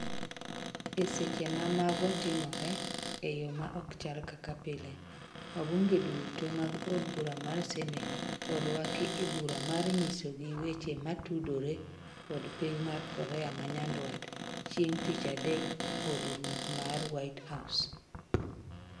E seche ma mago timore, eyo ma okchal kaka pile, wabunge duto mag od bura mar Senet oruaki e bura mar nyisogi weche matudore kod piny mar korea manyandwat chieng tich adek od ruoth mar White House